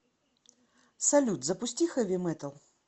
салют запусти хэви метал